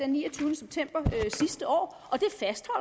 niogtyvende september sidste år